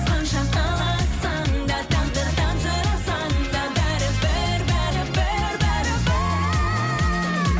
қанша қаласаң да тағдырдан сұрасаң да бәрібір бәрібір бәрібір